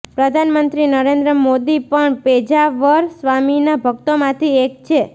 પ્રધાનમંત્રી નરેન્દ્ર મોદી પણ પેજાવર સ્વામીના ભક્તોમાંથી એક છે